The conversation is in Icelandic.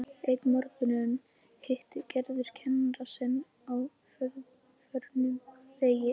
Einn morguninn hittir Gerður kennara sinn á förnum vegi.